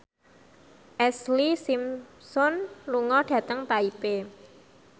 Ashlee Simpson lunga dhateng Taipei